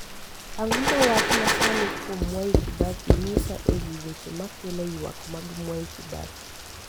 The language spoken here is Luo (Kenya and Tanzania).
ang'o ma wach masani kuom mwai kibaki nyisa ewi weche ma kelo ywak mag mwai kibaki